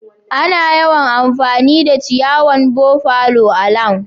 Ana yawan amfani da ciyawan buffalo a'lawn.